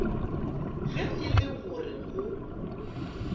ge e le gore go